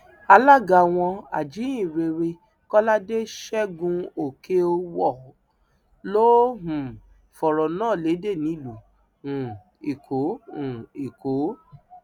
alága wọn ajíhìnrere kọládé ṣẹgunòkèèwọ ló um fọrọ náà lédè nílùú um èkó um èkó